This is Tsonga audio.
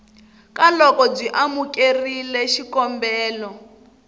ka loko byi amukerile xikombelo